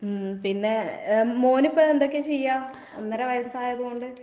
ഉം പിന്നെ ഏഹ് മോനിപ്പെ എന്തൊക്കെയാ ചെയ്യാ, ഒന്നര വയസ്സായത് കൊണ്ട്?